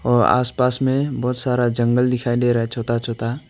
और आसपास में बहुत सारा जंगल दिखाई दे रहा है छोटा छोटा।